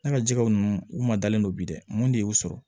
Ne ka jɛgɛw ninnu u ma dalen don bi dɛ mun de y'u sɔrɔ